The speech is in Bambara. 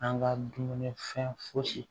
An ka dumuni fɛn fosi